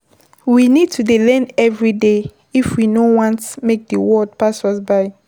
we need to dey learn everyday if we no want make di world pass us by